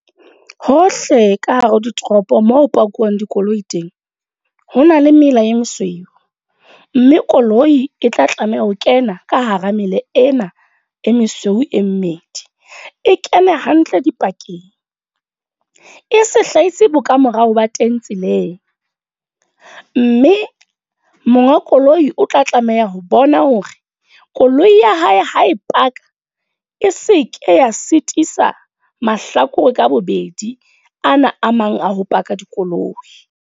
Hohle ka hare ho ditoropo moo ho pakuwang dikoloi teng, hona le mela e mesweu. Mme koloi e tla tlameha ho kena ka hara mela ena e mesweu e mmedi. E kene hantle dipakeng. E se hlahise bo kamorao ba teng tseleng. Mme monga koloi o tla tlameha ho bona hore, koloi ya hae ha e paka. E se ke ya sitisa mahlakore ka bobedi ana a mang a ho park-a dikoloi.